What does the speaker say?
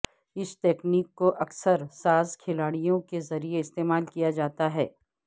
اس تکنیک کو اکثر جاز کھلاڑیوں کے ذریعہ استعمال کیا جاتا ہے